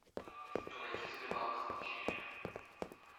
войти в сбербанк